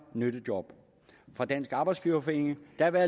nyttejob fra dansk arbejdsgiverforening der vil